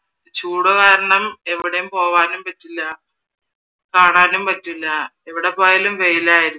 ചൂട് കാരണം എവിടേയും പോവാനും പറ്റില്ല, കാണാനും പറ്റില്ല എവിടെ പോയാലും വെയിലായിരിക്കും